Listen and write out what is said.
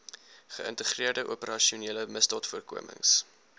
geïntegreerde operasionele misdaadvoorkomings